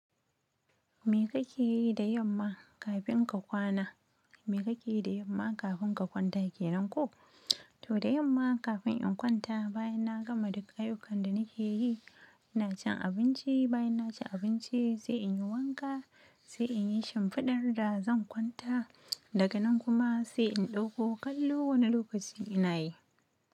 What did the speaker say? Me kake yi da yamma kafin ka kwana? Me kake yi da yamma kafin ka kwanta kenan ko? To da yamma kafin in kwanta, bayan na gama duk ayyukan da nake yi, ina cin abinci. Bayan na ci abinci sai in yi wanka, sai in yi shimfiɗar da zan kwanta. Daga nan kuma sai in ɗauko kallo wane lokaci ina yi.